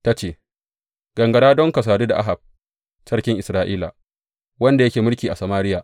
Ta ce, Gangara don ka sadu da Ahab sarkin Isra’ila, wanda yake mulki a Samariya.